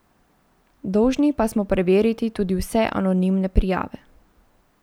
Dolžni pa smo preveriti tudi vse anonimne prijave.